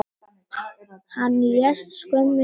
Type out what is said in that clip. Hann lést skömmu seinna.